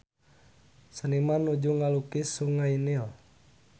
Seniman nuju ngalukis Sungai Nil